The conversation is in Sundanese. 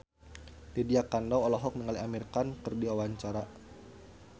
Lydia Kandou olohok ningali Amir Khan keur diwawancara